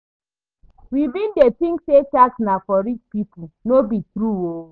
We bin dey tink say tax na for rich pipo, no be true o.